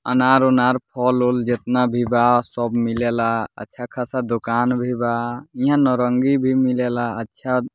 अनार-उनार फल-उल जितना भी बा सब मिलेला अच्छा ख़ासा दोकान भी बा इहाँ नारंगी भी मिलेला अच्छा --